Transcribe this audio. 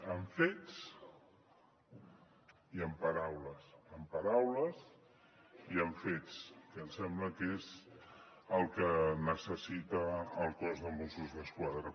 amb fets i amb paraules amb paraules i amb fets que em sembla que és el que necessita el cos de mossos d’esquadra